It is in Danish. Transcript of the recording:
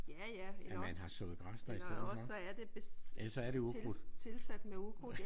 Ja ja eller også eller også så er det tilsat tilsat med ukrudt